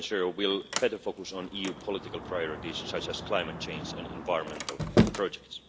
EFSI 2.0 will better focus on EU political priorities, such as climate change and environmental